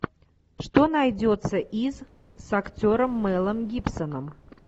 что найдется из с актером мелом гибсоном